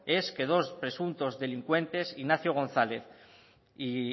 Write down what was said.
es que dos presuntos delincuentes ignacio gonzález